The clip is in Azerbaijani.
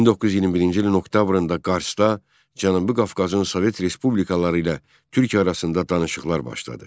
1921-ci ilin oktyabrında Qarsda Cənubi Qafqazın Sovet respublikaları ilə Türkiyə arasında danışıqlar başladı.